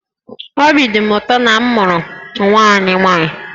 Obi dị Di m ụtọ na a mụrụ nwa anyị nwaanyị